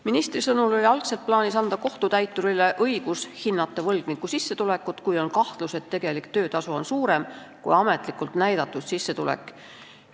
Ministri sõnul oli algul plaanis anda kohtutäiturile õigus hinnata võlgniku sissetulekut, kui on kahtlus, et tema tegelik töötasu on suurem kui ametlikult näidatud sissetulek.